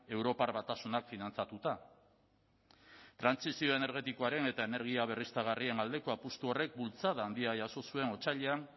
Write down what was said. europar batasunak finantzatuta trantsizio energetikoaren eta energia berriztagarrien aldeko apustu horrek bultzada handia jaso zuen otsailean